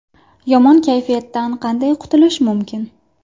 Yomon kayfiyatdan qanday qutulish mumkin?.